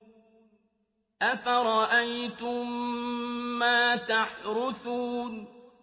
أَفَرَأَيْتُم مَّا تَحْرُثُونَ